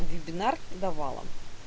вебинар давала